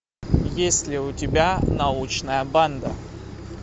есть ли у тебя научная банда